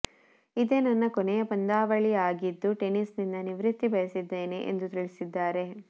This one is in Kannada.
ಇದೇ ನನ್ನ ಕೊನೆಯ ಪಂದ್ಯಾವಳಿಯಾಗಿದ್ದು ಟೆನಿಸ್ ನಿಂದ ನಿವೃತ್ತಿ ಬಯಸಿದ್ದೇನೆ ಎಂದು ತಿಳಿಸಿದ್ದಾರೆ